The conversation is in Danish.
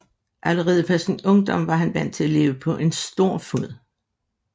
Allerede fra sin ungdom var han vant til at leve på en stor fod